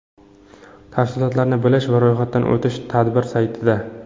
Tafsilotlarni bilish va ro‘yxatdan o‘tish tadbir saytida .